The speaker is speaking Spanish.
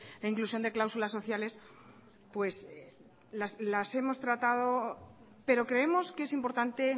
la inclusión de cláusulas sociales pues las hemos tratado pero creemos que es importante